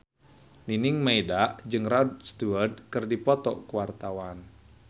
Nining Meida jeung Rod Stewart keur dipoto ku wartawan